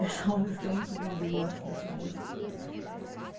Essa música é muito linda, eu gosto dessa música.